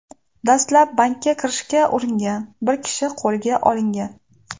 Dastlab bankka kirishga uringan bir kishi qo‘lga olingan.